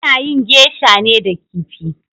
Ana yin geisha ne da kifi